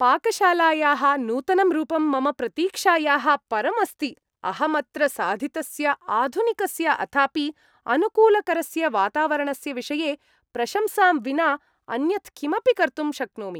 पाकशालायाः नूतनं रूपं मम प्रतीक्षायाः परमस्ति, अहमत्र साधितस्य आधुनिकस्य अथापि अनुकूलकरस्य वातावरणस्य विषये प्रशंसां विना अन्यत्किमपि कर्तुं शक्नोमि।